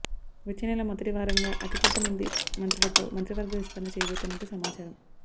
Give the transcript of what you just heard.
వచ్చే నెల మొదటి వారంగా అతి కొద్ది మంది మంత్రులతో మంత్రి వర్గ విస్తరణ చేయబోతున్నట్టు సమాచారం